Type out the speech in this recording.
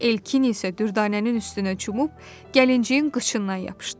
Elkin isə Dürdanənin üstünə cumub gəlinciyin qıçından yapışdı.